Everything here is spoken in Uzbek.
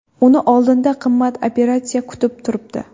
Uni oldinda qimmat operatsiya kutib turibdi.